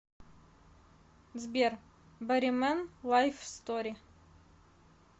сбер боримэн лайф стори